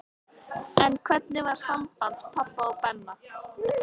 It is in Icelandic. En hvernig var samband pabba og Benna?